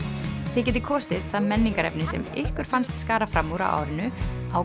þið getið kosið það menningarefni sem ykkur fannst skara fram úr á árinu á